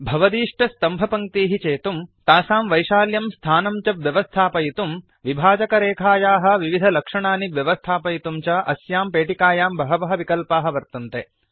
भवदीष्टस्तम्भपङ्क्तीः चेतुम् तासां वैशाल्यं स्थानं च व्यवस्थापयितुम् विभाजकरेखायाः विविधलक्षणानि व्यवस्थापयितुं च अस्यां पेटिकायां बहवः विकल्पाः वर्तन्ते